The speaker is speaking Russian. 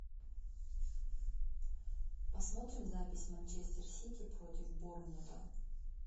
посмотрим запись манчестер сити против борнмута